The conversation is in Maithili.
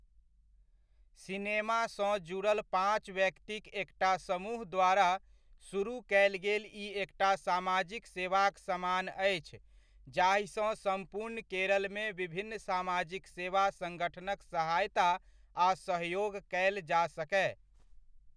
सिनेमासँ जुड़ल पाँच व्यक्तिक एकटा समूह द्वारा सुरुह कयल गेल ई एकटा सामाजिक सेवाक समान अछि जाहिसँ सम्पूर्ण केरलमे विभिन्न सामाजिक सेवा संगठनक सहायता आ सहयोग कयल जा सकय।